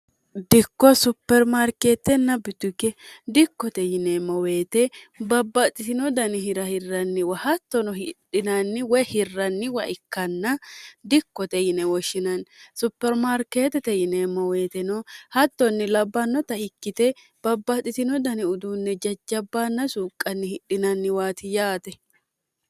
dikko supermarkeettenna bituge dikkote yineemmo weyite babbaaxxitino dani hira hirranniwa hattono hidhinanni we hirranniwa ikkanna dikkote yine woshshinanni supermaarkeetete yineemmo weyiteno hattonni labbannota ikkite babbaaxitino dani uduunne jajjabbaanna suuqqanni hidhinanniwaati yaate